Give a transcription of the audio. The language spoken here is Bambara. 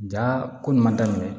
Ja ko ɲuman daminɛ